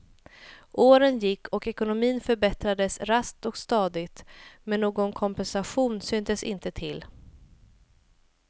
Åren gick och ekonomin förbättrades raskt och stadigt, men någon kompensation syntes inte till.